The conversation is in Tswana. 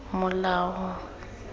molao